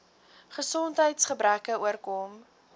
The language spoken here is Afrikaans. gesondheids gebreke oorkom